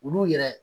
Olu yɛrɛ